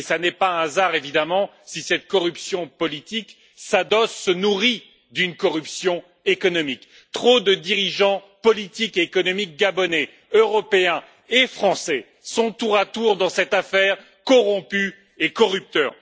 Ce n'est pas un hasard évidemment si cette corruption politique s'adosse, se nourrit d'une corruption économique. Trop de dirigeants politiques et économiques gabonais, européens et français sont, tour à tour dans cette affaire, corrompus et corrupteurs.